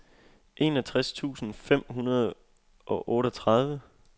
enogtres tusind fem hundrede og otteogtredive